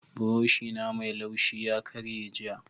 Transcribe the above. buroshi na Mai laushi ya karye jiya.